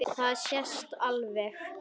Það sést alveg.